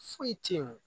Foyi te yen